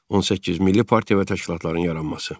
18 milli partiya və təşkilatların yaranması.